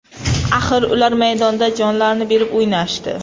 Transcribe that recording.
Axir ular maydonda jonlarini berib o‘ynashdi.